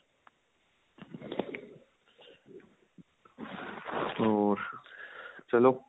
ਹੋਰ ਚਲੋਂ